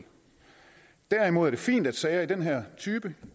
derimod er det fint at sager af den her type